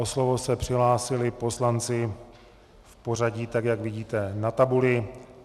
O slovo se přihlásili poslanci v pořadí tak, jak vidíte na tabuli.